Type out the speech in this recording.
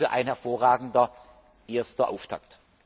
Der Bericht ist dafür ein hervorragender erster Auftakt.